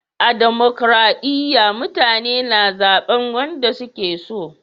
A dimokuradiyya mutane na zaben wanda su ke so